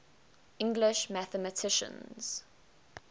english mathematicians